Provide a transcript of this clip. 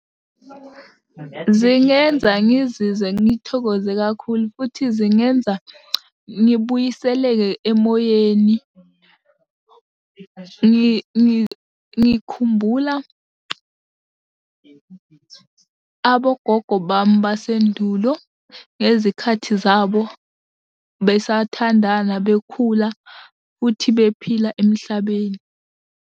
Zingenza ngizizwe ngithokoze kakhulu futhi zingenza ngibuyiseleke emoyeni. Ngikhumbula abogogo bami basendulo ngezikhathi zabo besathandana bekhula futhi bephila emhlabeni.